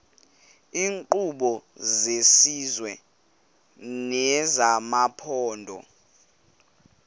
iinkqubo zesizwe nezamaphondo